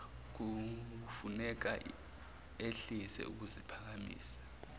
kufuneka ehlise ukuziphakamisa